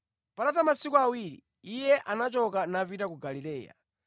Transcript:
Patatha masiku awiri Iye anachoka napita ku Galileya.